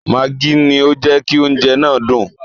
Mágí ni ó jẹ́ kí oúnjẹ náà dùn.